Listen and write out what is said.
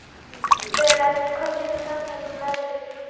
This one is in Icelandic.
Berent, hvað geturðu sagt mér um veðrið?